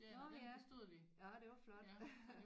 Nåh ja nåh det var flot